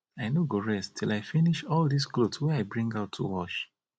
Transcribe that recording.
i no go rest till i finish all dis cloth wey i bring out to wash